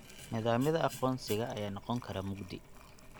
Nidaamyada aqoonsiga ayaa noqon kara mugdi.